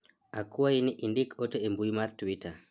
akwayi ni indik ote embui mar twita